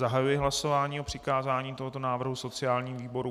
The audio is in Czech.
Zahajuji hlasování o přikázání tohoto návrhu sociálnímu výboru.